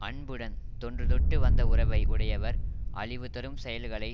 அன்புடன் தொன்றுதொட்டு வந்த உறவை உடையவர் அழிவுதரும் செயல்களை